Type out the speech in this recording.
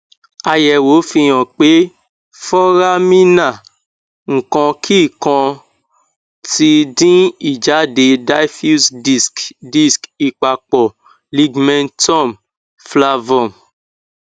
ayẹwo fihan pe fọramina nkankikan ti dín ijade diffuse disk disk ipapo ligmentum flavum